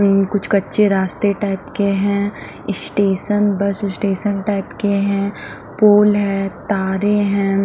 अ कुछ कच्चे रास्ते टाइप के हैं स्टेशन बस स्टेशन टाइप के हैं पोल हैं तारे हैं।